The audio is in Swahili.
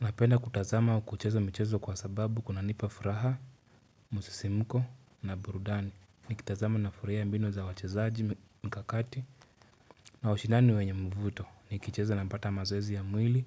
Napenda kutazama kucheza michezo kwa sababu kunanipa furaha, msisimko na burudani. Nikitazama nafuraia mbinu za wachezaji mkakati na ushindani wenye mvuto. Nikicheza napata mazoezi ya mwili,